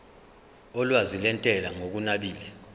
olwazi lwentela ngokunabile